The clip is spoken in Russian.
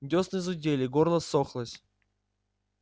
десны зудели горло ссохлось